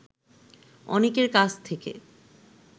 অনেকের কাছ থেকে